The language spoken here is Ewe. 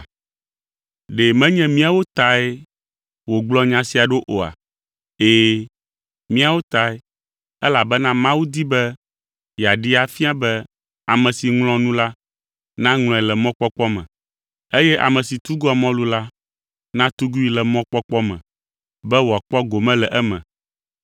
Ɖe menye míawo tae wògblɔ nya sia ɖo oa? Ɛ̃, míawo tae, elabena Mawu di be yeaɖee afia be ame si ŋlɔa nu la, naŋlɔe le mɔkpɔkpɔ me, eye ame si tugua mɔlu la natugui le mɔkpɔkpɔ me, be wòakpɔ gome le eme.